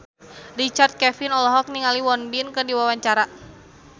Richard Kevin olohok ningali Won Bin keur diwawancara